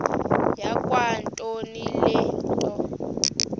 yakwantombi le nto